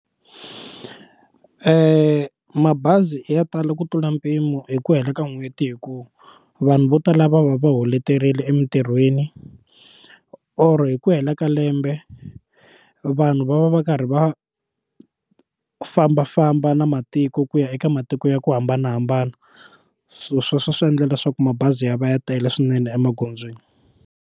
mabazi yo tala ku tlula mpimo hi ku hela ka n'hweti hi ku vanhu vo tala va va va holeterile emitirhweni or hi ku hela ka lembe vanhu va va va karhi va fambafamba na matiko ku ya eka matiko ya ku hambanahambana so sweswo swi endla leswaku mabazi ya va ya tele swinene emagondzweni.